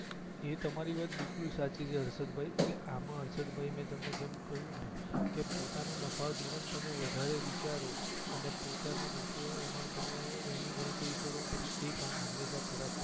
એ તમારી વાત બઈકુલ સાંચી છે હર્ષદભઇ એટલે આમાં હર્ષદભઇ મે તમને જેમ કહિયું ને કે પોતાનું નફા ધોરણ તમે વધારે વિચારો અને પોતનો નફો એમાં તમે એની ગણતરી કરો એટલે એ કામ હમેશા ખરાબ થાય